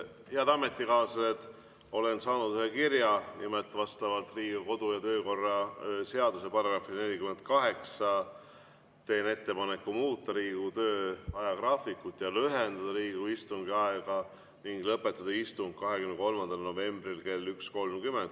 Head ametikaaslased, olen saanud ühe kirja, nimelt vastavalt Riigikogu kodu‑ ja töökorra seaduse §‑le 48 teen ettepaneku muuta Riigikogu töö ajagraafikut ja lühendada Riigikogu istungi aega ning lõpetada istung 23. novembril kell 1.30.